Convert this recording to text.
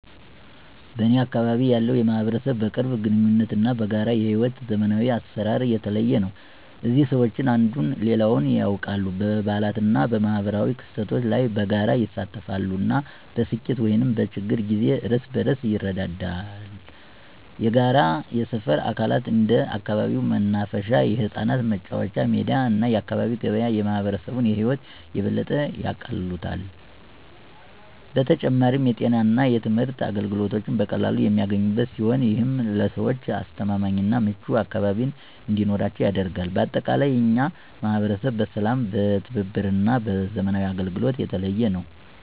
በእኔ አካባቢ ያለው ማህበረሰብ በቅርብ ግንኙነት እና በጋራ የሕይወት ዘመናዊ አሰራር የተለየ ነው። እዚህ ሰዎች አንዱን ሌላው ያውቃል፣ በበዓላት እና በማኅበራዊ ክስተቶች ላይ በጋራ ይሳተፋሉ፣ እና በስኬት ወይም በችግር ጊዜ እርስ በርስ ይረዳዋል። የጋራ የሰፈር አካላት እንደ አካባቢው መናፈሻ፣ የህጻናት መጫወቻ ሜዳ እና የአካባቢ ገበያ የማህበረሰቡን ህይወት የበለጠ ያቃልሉታል። በተጨማሪም፣ የጤና እና የትምህርት አገልግሎቶች በቀላሉ የሚገኙበት ሲሆን፣ ይህም ለሰዎች አስተማማኝ እና ምቹ አካባቢ እንዲኖራቸው ያደርጋል። በአጠቃላይ፣ የእኛ ማህበረሰብ በሰላም፣ በትብብር እና በዘመናዊ አገልግሎቶች የተለየ ነው።